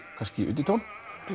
undirtón